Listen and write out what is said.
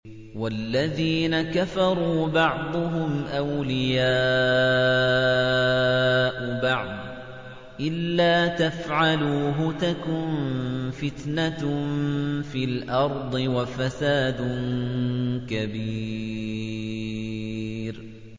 وَالَّذِينَ كَفَرُوا بَعْضُهُمْ أَوْلِيَاءُ بَعْضٍ ۚ إِلَّا تَفْعَلُوهُ تَكُن فِتْنَةٌ فِي الْأَرْضِ وَفَسَادٌ كَبِيرٌ